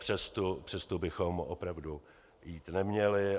Přes tu bychom opravdu jít neměli.